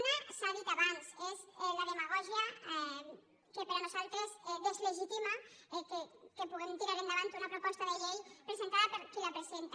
una s’ha dit abans és la demagògia que per nosaltres deslegitima que puguem tirar endavant una proposta de llei presentada per qui la presenta